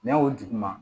N'a y'o duguma